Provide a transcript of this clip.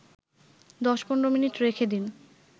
১০-১৫ minute রেখে দিন